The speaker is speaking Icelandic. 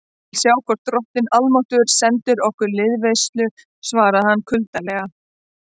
Ég vil sjá hvort drottinn almáttugur sendir okkur liðveislu, svaraði hann kuldalega.